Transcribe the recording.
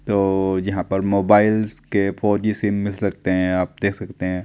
तो जहां पर मोबाइल्स के फोर जी सिम मिल सकते हैं आप देख सकते हैं।